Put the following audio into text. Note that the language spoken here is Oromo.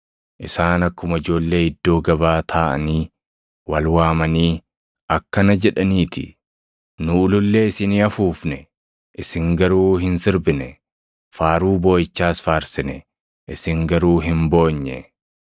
Isaan akkuma ijoollee iddoo gabaa taaʼanii wal waamanii akkana jedhanii ti: “ ‘Nu ulullee isinii afuufne; isin garuu hin sirbine; faaruu booʼichaas faarsine; isin garuu hin boonye.’